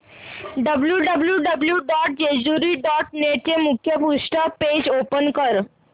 W W W dot Jejuri dot net चे मुखपृष्ठ page open कर